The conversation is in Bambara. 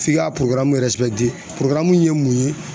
F'i ka ye mun ye